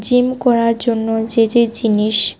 Gym করার জন্য যে যে জিনিস।